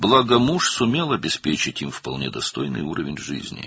Yaxşı ki, əri onlara tamamilə layiqli həyat səviyyəsi təmin edə bilmişdi.